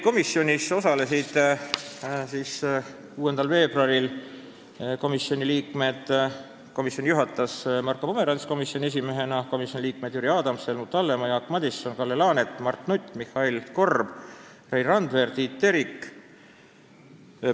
Komisjoni istungit 6. veebruaril juhatas Marko Pomerants komisjoni esimehena ning istungil osalesid komisjoni liikmed Jüri Adams, Helmut Hallemaa, Jaak Madison, Kalle Laanet, Mart Nutt, Mihhail Korb, Rein Randver ja Tiit Terik.